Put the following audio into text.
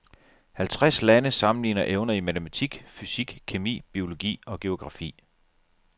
Halvtreds lande sammenligner evner i matematik, fysik, kemi, biologi og geografi.